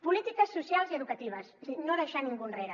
polítiques socials i educatives és a dir no deixar ningú enrere